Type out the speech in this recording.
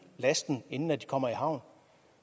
lasten inden de kommer i havn